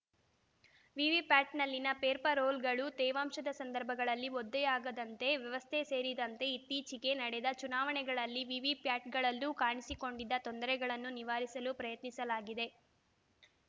ವಿವಿಪ್ಯಾಟ್‌ನಲ್ಲಿನ paper ರೋಲ್‌ಗಳು ತೇವಾಂಶದ ಸಂದರ್ಭಗಳಲ್ಲಿ ಒದ್ದೆಯಾಗದಂತ ವ್ಯವಸ್ಥೆ ಸೇರಿದಂತೆ ಇತ್ತೀಚೆಗೆ ನಡೆದ ಚುನಾವಣೆಗಳಲ್ಲಿ ವಿವಿಪ್ಯಾಟ್‌ಗಳಲ್ಲೂ ಕಾಣಿಸಿಕೊಂಡಿದ್ದ ತೊಂದರೆಗಳನ್ನು ನಿವಾರಿಸಲು ಪ್ರಯತ್ನಿಸಲಾಗಿದೆ